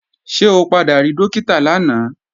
Ṣé o padà rí Dókítà lánàá?